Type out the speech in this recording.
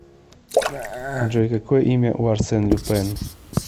джой какое имя у арсен люпен